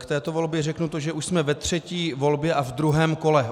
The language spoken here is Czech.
K této volbě řeknu to, že už jsme ve třetí volbě a v druhém kole.